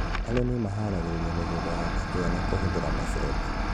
Arĩmi maharagĩrĩria mĩgũnda ya ndania na kũhũthĩra macembe